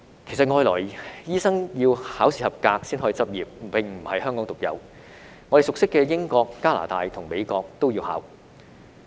其實外來醫生要考試及格才可以執業，並不是香港獨有，我們熟悉的英國、加拿大及美國都要考。